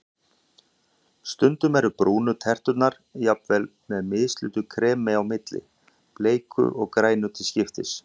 Stundum eru brúnu terturnar jafnvel með mislitu kremi á milli, bleiku og grænu til skiptis.